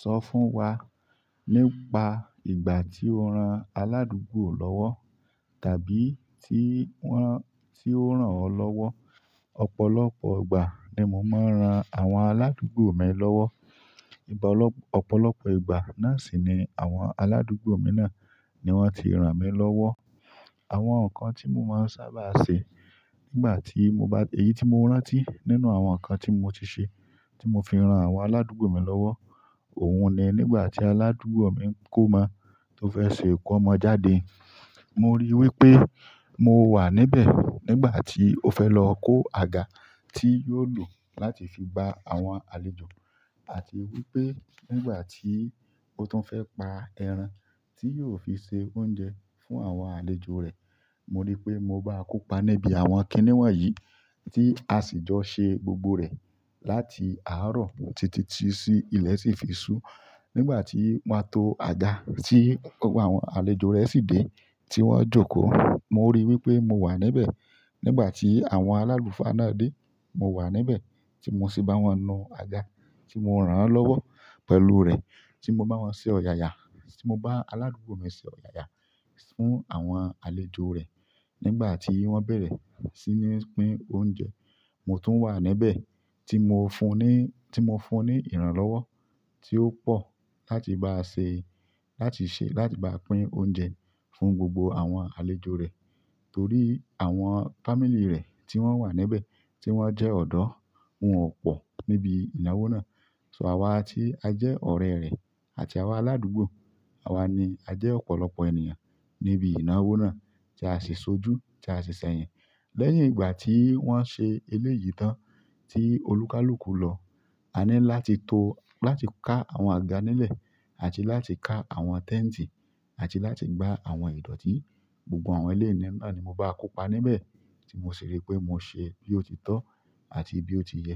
Sọ fún wa nípa ìgbà tí o ran aládùúgbò lọ́wọ́ tàbí tí wọ́n, tí ó rán ọ lọ́wọ́. Ọ̀pọ̀lọpọ̀ ìgbà ni mo máa ń ran àwọn aládùúgbò mi lọ́wọ́. Ọ̀pọ̀lọpọ̀ ìgbà náà sì ni àwọn aládùúgbò mi náà ni wọ́n ti rán mi lọ́wọ́. Àwọn nǹkan tí mo máa ń sábà ṣe nígbà tí mo bá, èyí tí mo rántí nínú àwọn nǹkan tí mo ti ṣe, tí mo fi ran àwọn aládùúgbò mi lọ́wọ́, òun ni nígbà tí aládùúgbò mi n kómọ tó fẹ́ ṣe ìkómọ jáde. Mo ri wípé mo wa níbẹ̀ nigbati o fẹ́ lọ kó aga ti yóò lo láti fi gba àwọn àlejò, àti wípé nigbati o tun fẹ pa ẹran ti yóò fi ṣe oúnjẹ fún àwọn àlejò rẹ̀. Mo rí i pé mo báa kópa níbi àwọn kìnnìwọ̀n yìí tí a sì jọ ṣe gbogbo rẹ̀ láti àárọ̀ títí sí ilẹ̀ sì fi sú. Nígbà tí wọ́n to àga tí gbogbo àwọn àlejò rẹ̀ sì dé tí wọ́n jókòó, mo rí i wí pé mo wà níbẹ̀. Nígbà tí àwọn aláluufa náà dé, mo wà níbẹ̀ tí mo sì bá wọn nu àga, tí mo rán wọn lọ́wọ́ pẹ̀lú rẹ̀, tí mo bá wọn ṣe ọ̀yàyà, tí mo bá aládùúgbò mi ṣe ọ̀yàyà fún àwọn àlejò rẹ̀. Nigbati wọn bẹrẹ si ni pín oúnjẹ mo tun wa níbẹ̀ ti mo fún ni ìrànlọ́wọ́ ti o pọ láti baa pín oúnjẹ fún gbogbo àwọn àlejò rẹ̀ torí àwọn family rẹ̀ tí wọ́n wà níbẹ̀ tí wọ́n jẹ́ ọ̀dọ́, wọ́n ò pọ̀ níbi ìnáwó náà. Àwa tí a jẹ́ ọ̀rẹ́ rẹ̀ àti àwa aládùúgbò, àwa ni a jẹ́ ọ̀pọ̀lọpọ̀ ènìyàn níbi ìnáwó náà tí a sì sojú, tí a sì ṣẹ̀yìn. Lẹ́yìn ìgbà tí wọ́n ṣe eléyìí tán tí olúkálùkù lọ, a ní láti to, láti ká àwọn àga nílẹ̀ àti láti ká àwọn tẹnti àti láti gba àwọn ìdọ̀tí. Gbogbo àwọn ilé ni mo báa kópa níbẹ̀ tí mo sì rí i pé mo ṣe bí ó ti tọ́ àti bí ó ti yẹ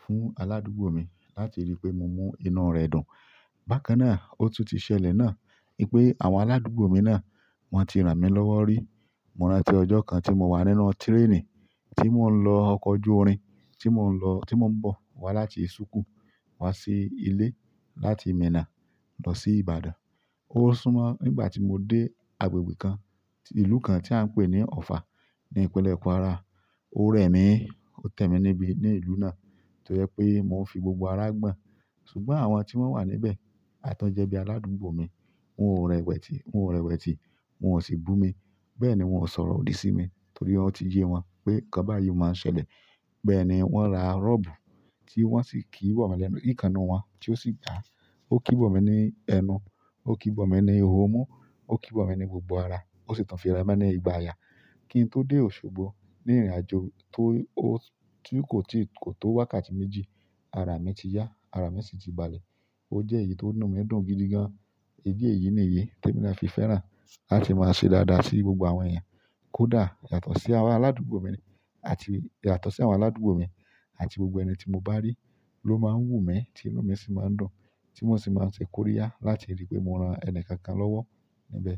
fún aládùúgbò mi láti rí i pé mo mú inú rẹ̀ dùn. Bákan náà, ó tún ti ṣẹlẹ̀ náà wipé àwọn aládùúgbò mi náà wọ́n ti ràn mí lọ́wọ́ rí. Mo rántí ọjọ kan ti mo wa nínú tireni, ti mo n lọ ọkọ ojú irin, ti mo n bọ láti suku wa si ile láti mina lọ si Ìbàdàn. Ó súnmọ́ nígbà tí mo dé agbègbè kan, ìlú kan tí à ń pè ní Offa ní ìpínlẹ̀ Kwara. Ó rẹ̀ mí, ó tẹ́ mi níbi, ní ìlú náà tó jẹ pé mò ń fi gbogbo ara gbọ́n. Ṣùgbọ́n àwọn tí wọ́n wà níbẹ̀, àwọn to jẹ́bi aládùúgbò mi, wọ́n ò rẹpẹtẹ, wọ́n ò rẹpẹtẹ, wọ́n ò sì bù mi. Bẹ́ẹ̀ ni wọ́n ò sọ̀rọ̀ òdì sí mi torí o ti yé wọn pé nǹkan báyìí o máa ń ṣẹlẹ̀. Bẹ́ẹ̀ ni wọ́n ra rọ́bù tí wọ́n sì kí bọ̀ mí lẹ́nu, ti ikan nínú wọn tí ó sì gbàá, ó kí bọ̀ mí ní ẹnu, ó kí bọ̀ mí ní ihò mú, ó kí bọ̀ mí ní gbogbo ara, ó sì tun fí ra mi ní ìgbà ayà. Kí n tó dé Òṣogbo ní ìrìnàjò tó, ó tí kò tí, kò tó wákàtí méjì, ara mi ti yá, ara mi sì ti balẹ̀. Ó jẹ́ èyí ti inú mi dùn gidi gan-an. Eléyìí niyí temi nàa fi fẹ́ràn láti máa ṣe dáadáa sí gbogbo àwọn èeyàn kódà, yàtọ̀ sí àra aládùúgbò mi àti, yàtọ̀ sí àwọn aládùúgbò mi àti gbogbo ẹni tí mo bá rí ló máa ń wù mí, tí inú mi sì máa ń dùn, tí mo sì máa ń ṣe kóríyá láti rí i pé mo ran ẹni kankan lọ́wọ́ níbẹ̀.